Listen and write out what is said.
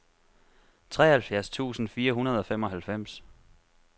treoghalvfjerds tusind fire hundrede og femoghalvfems